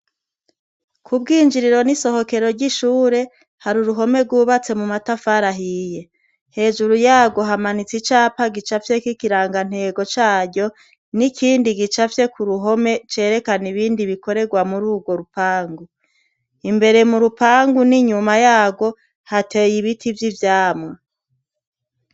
Ku bwinjriro n'isohokero ry'ishure, hari uruhome rwubatse mu matafari ahiye. Hejuru yarwo hamanitse icapa gicafyeko ikirangantego caryo n'ikindi gicafye ku ruhome cerakana ibindi bikorerwa muri urwo rupangu. Imbere mu rupangu n'inyuma yarwo hateye ibiti vy'ivyamwa.